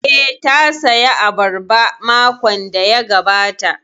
Eh, ta saya abarba makon da ya gabata